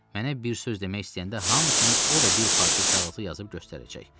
Mənə bir söz demək istəyəndə hamı kimi o da bir parça kağızı yazıb göstərəcək.